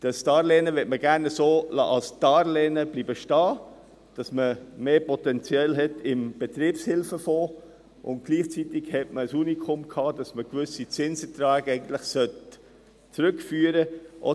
Das Darlehen möchte man gerne als Darlehen so stehen lassen, damit man im Betriebshilfefonds mehr Potenzial hat, und gleichzeitig hatte man das Unikum, dass man gewisse Zinserträge eigentlich zurückführen sollte.